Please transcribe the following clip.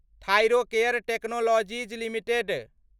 Thyrocare technologies limited